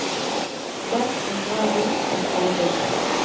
Den som drar dit er ferdig.